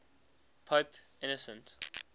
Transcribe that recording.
pope innocent